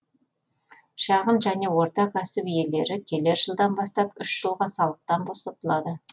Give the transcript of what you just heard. шағын және орта кәсіп иелері келер жылдан бастап үш жылға салықтан босатылады